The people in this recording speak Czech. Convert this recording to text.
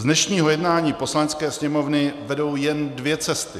Z dnešního jednání Poslanecké sněmovny vedou jen dvě cesty.